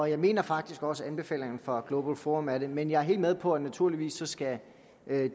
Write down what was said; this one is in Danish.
jeg mener faktisk også at anbefalingerne fra global forum er det men jeg er helt med på at naturligvis skal